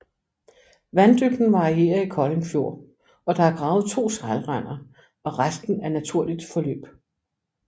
Vanddybden varierer i Kolding Fjord og der er gravet to sejlrender og resten er naturligt forløb